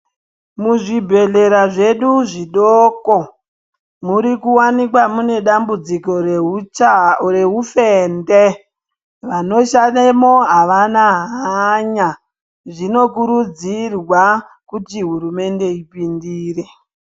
Muzvibhehlera zvedu zvidoko murikuwanikwa mune dzambudziko reupfende, vanoshandemwo havana hanya. Zvinokurudzirwa kuti hurumende ipindire.